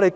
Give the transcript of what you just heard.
路？